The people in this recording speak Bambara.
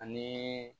Ani